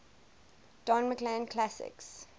don mclean classics